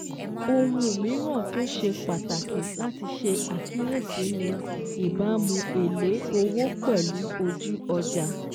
Ohun míràn tó ṣe pàtàkì láti ṣe àkíyèsí ni ìbámu èlé owó pẹ̀lú ojú ọjà